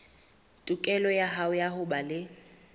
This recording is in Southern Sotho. tokelo ya ho ba le